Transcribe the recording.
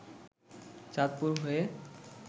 চাঁদপুর হয়ে